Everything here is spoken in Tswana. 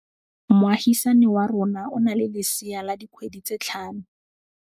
Moagisane wa rona o na le lesea la dikgwedi tse tlhano.